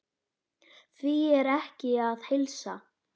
Því er ekki að heilsa.